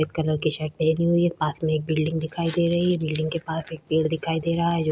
सफ़ेद कलर की शर्ट पहनी हुई है पास में एक बिलडिंग दिखाई दे रही है बिलडिंग के पास एक पेड़ दिखाई दे रहा है जो--